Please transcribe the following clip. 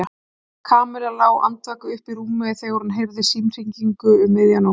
Kamilla lá andvaka uppi í rúmi þegar hún heyrði símhringingu um miðja nótt.